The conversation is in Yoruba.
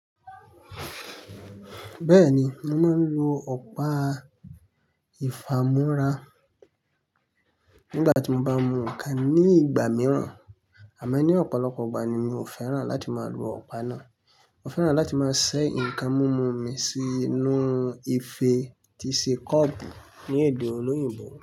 Bẹ́ẹ̀ni, mo máa ń lo ọ̀pá ìfámú́ra nígbà tí mo bá mu òǹkà ní ìgbà mìíràn. Àmọ́ ní ọ̀pọ̀lọpọ̀ ìgbà ni mi ò fẹ́ràn láti máa lo ọ̀pá náà. Mo fẹ́ràn láti máa sẹ́ nǹkan mímu mi sínú ife tí ṣe kọ́ọ̀bù ní èdè olóyìnbo.